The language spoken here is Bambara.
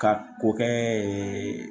Ka ko kɛ